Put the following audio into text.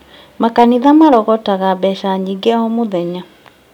Makanitha marogotaga mbeca nyingĩ mũno o mũthenya